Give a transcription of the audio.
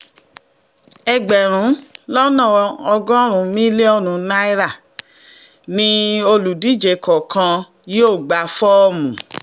ẹgbẹ̀rún lọ́nà ọgọ́rùn-ún mílíọ̀nù náírà ni olùdíje kọ̀ọ̀kan yóò gba fọ́ọ̀mù